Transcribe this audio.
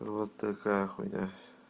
вот такая хуйня